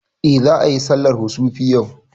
Eh za ayi sallar kusufi yau